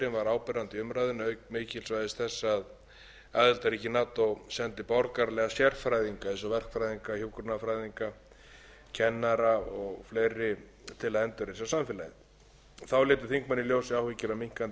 umræðunni auk mikilvægis þess að aðildarríki nato sendi borgaralega sérfræðinga eins og verkfræðinga hjúkrunarfræðinga kennara og fleiri til að endurreisa samfélagið þá létu þingmenn í ljós áhyggjur af minnkandi